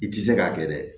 I tɛ se k'a kɛ dɛ